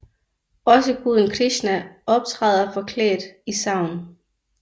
Også guden Krishna optræder forklædt i sagn